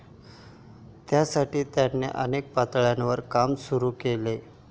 त्यासाठी त्यांनी अनेक पातळ्यांवर काम सुरू केले.